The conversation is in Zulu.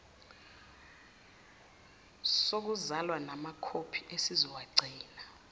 sokuzalwa kanyenamakhophi esizowagcina